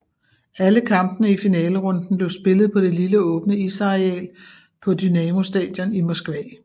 Alle kampene i finalerunden blev spillet på det lille åbne isareal på Dynamo Stadion i Moskva